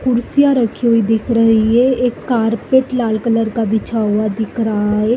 कुर्सियां रखी हुई दिख रही हैं। एक कारपेट लाल कलर का बिछा हुआ दिख रहा है।